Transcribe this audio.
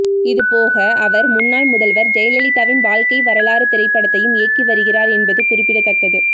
இதுபோக அவர் முன்னாள் முதல்வர் ஜெயலலிதாவின் வாழ்க்கை வரலாறு திரைப்படத்தையும் இயக்கி வருகிறார் என்பது குறிப்பிடத்தக்கது